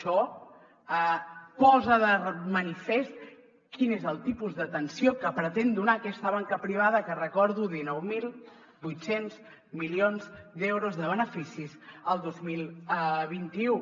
això posa de manifest quin és el tipus d’atenció que pretén donar aquesta banca privada que recordo dinou mil vuit cents milions d’euros de beneficis el dos mil vint u